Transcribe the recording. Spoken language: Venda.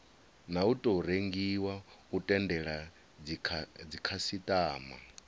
tou rengiwa u tendela dzikhasitama